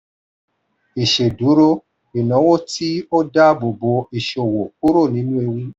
ìṣèdúró: ìnáwó tí ó daabobo ìṣòwò kúrò nínú ewu.